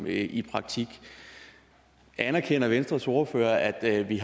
i praktik anerkender venstres ordfører at vi